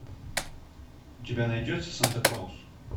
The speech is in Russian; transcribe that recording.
у тебя найдется санта клаус